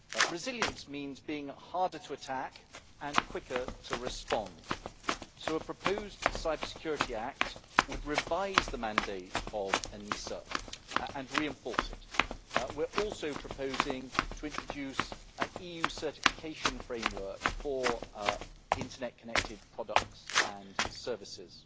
Resilience means being harder to attack and quicker to respond, so a proposed cybersecurity act would revise the mandate of ENISA and reinforce it. We are also proposing to introduce an EU certification framework for internet connected products and services.